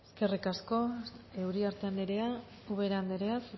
eskerrik asko uriarte andrea ubera andrea